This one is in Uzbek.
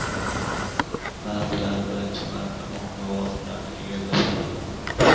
ba’zilari birinchi marta muhim lavozimlarni egallashadi.